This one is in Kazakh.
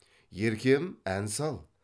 еркем ән сал